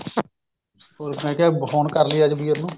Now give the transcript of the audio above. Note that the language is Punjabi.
ਹੋਰ ਮੈਂ ਕਿਹਾ ਫੋਨ ਕਰਲੀਏ ਅੱਜ ਵੀਰ ਨੂੰ